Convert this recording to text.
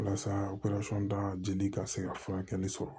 Walasa dali ka se ka furakɛli sɔrɔ